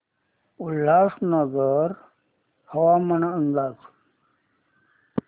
उल्हासनगर हवामान अंदाज